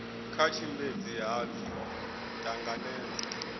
nga tshimbedzi ha pfi ṱanangedza